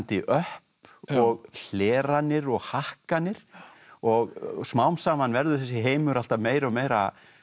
öpp og hleranir og og smám saman verður þessi heimur alltaf meira og meira